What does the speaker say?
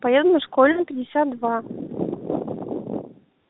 поеду на школьную пятьдесят два